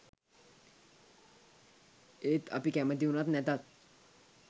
ඒත් අපි කැමැති වුණත් නැතත්